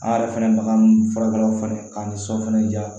An yɛrɛ fɛnɛ baga ninnu furakɛlaw fana k'an ni sɔ fana diya